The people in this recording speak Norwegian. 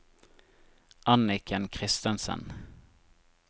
Anniken Christensen